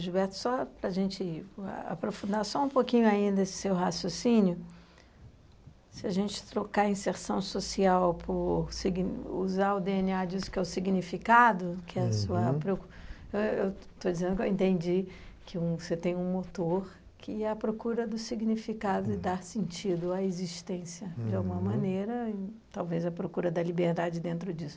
Gilberto, só para a gente ah aprofundar só um pouquinho aí nesse seu raciocínio, se a gente trocar a inserção social por sign... usar o dê ene á disso que é o significado, que é a sua preocu... eh eu estou dizendo que eu entendi que um, você tem um motor que é a procura do significado e dar sentido à existência, de alguma maneira e talvez a procura da liberdade dentro disso.